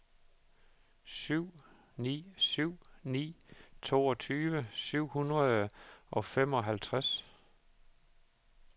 syv ni syv ni toogtyve syv hundrede og femoghalvtreds